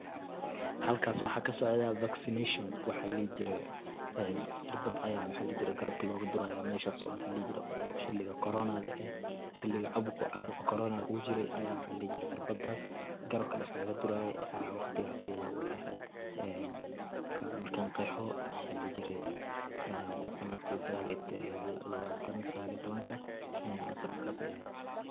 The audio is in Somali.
halkas waxa kasocda vaccination waxa la dhihi jire ,cirbada aya maxa ladhihi jire garabka loga duraya, meshas oo maxa ladhihi jire xiliga korona ah xiliga caabuqa korona uu jire aya cirbadas garabka liskaga diraye aya waqtigaas ayada ayay ehed ee markan qeexo sanadki labatanka sagal iyo tobanka, sanadkaas ayay ehed